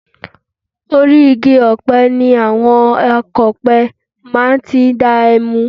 Orí igi ọ̀pẹ ni àwọn akọ̀pẹ máa ti ń dá ẹmu